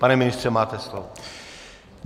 Pane ministře, máte slovo.